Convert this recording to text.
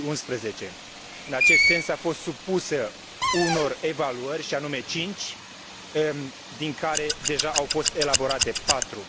2011. În acest sens, a fost supusă unor evaluări, și anume cinci, din care au fost deja elaborate patru.